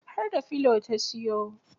Har da pillow ta siyo